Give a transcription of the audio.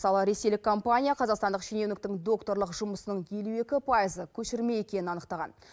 мысалы ресейлік компания қазақстандық шенеуніктің докторлық жұмысының елу екі пайызы көшірме екенін анықтаған